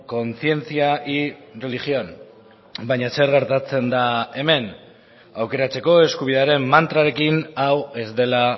conciencia y religión baina zer gertatzen da hemen aukeratzeko eskubidearen mantrarekin hau ez dela